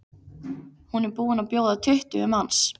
Hún er búin að bjóða tuttugu manns.